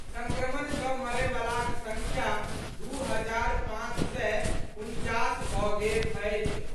संक्रमण सँ मरयवलाक संख्या दू हजार पांच सय उनचास भऽ गेल अछि।